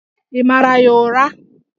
Ị mara ya ụra?